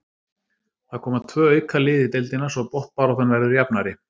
Það koma tvö auka lið í deildina svo botnbaráttan verður jafnari.